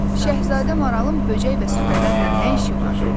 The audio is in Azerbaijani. Şahzadə maralın böcək və süfrələrlə nə işi var?"